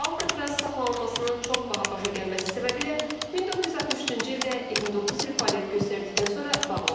Alkatraz saxlanmasının çox baha başa gəlməsi səbəbilə 1963-cü ildə 29 il fəaliyyət göstərdikdən sonra bağlanıb.